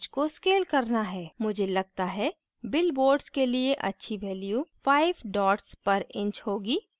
मुझे लगता है bill board के लिए अच्छी value 5 dots पर inch होगी